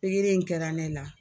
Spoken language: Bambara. Pigiri in kɛra ne la.